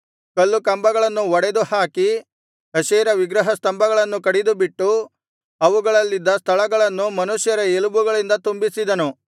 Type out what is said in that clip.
ಕಲ್ಲು ಕಂಬಗಳನ್ನು ಒಡೆದುಹಾಕಿ ಅಶೇರ ವಿಗ್ರಹ ಸ್ತಂಭಗಳನ್ನು ಕಡಿದುಬಿಟ್ಟು ಅವುಗಳಲ್ಲಿದ್ದ ಸ್ಥಳಗಳನ್ನು ಮನುಷ್ಯರ ಎಲುಬುಗಳಿಂದ ತುಂಬಿಸಿದನು